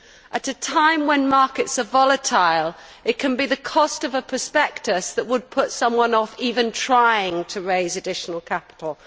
At a time when markets are volatile, it can be the cost of a prospectus that would put someone off even trying to raise additional capital.